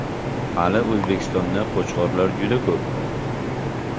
Hali O‘zbekistonda Qo‘chqorlar juda ko‘p.